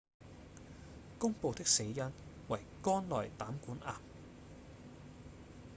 公布的死因為肝內膽管癌